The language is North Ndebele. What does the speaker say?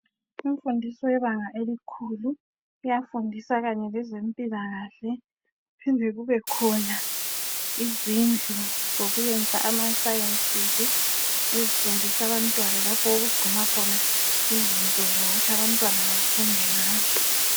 Imfundiso yebanga elikhulu iyafundisa kanyelezempilakahle. Kuphinde kubekhona izindlu zokuyenza ama (Sciences). Ezifundisa abantwana lapho okugcinwa khona izinto zokuthi abantwana bafunde ngazo.